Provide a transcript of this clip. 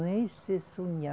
Nem se sonha